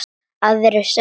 Aðrir sögðu: